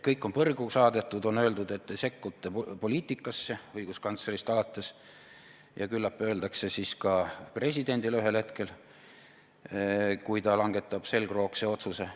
Kõik on põrgu saadetud, on öeldud, et te sekkute poliitikasse, õiguskantslerist alates, ja küllap öeldakse siis ka presidendile seda ühel hetkel, kui ta langetab selgroogu näitava otsuse.